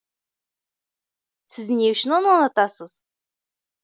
сіз не үшін оны ұнатасыз